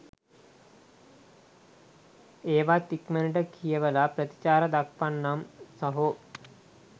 ඒවත් ඉක්මනට කියවල ප්‍රතිචාර දක්වන්නම් සහෝ.